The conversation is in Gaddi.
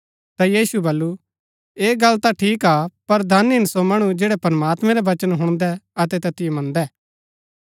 ता यीशुऐ वल्‍लु ऐह गल ता ठीक हा पर धन हिन सो मणु जैड़ै प्रमात्मैं रा वचन हुणदै अतै तैतिओ मन्दै